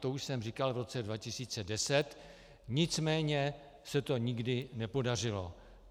To už jsem říkal v roce 2010, nicméně se to nikdy nepodařilo.